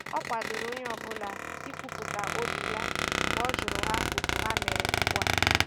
O kwadoro onye ọ bụla i kwupụta obi ya mgbe ọ jụrụ ha otu ha mere ugbu a